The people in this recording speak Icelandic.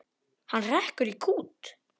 Hann hrekkur í kút.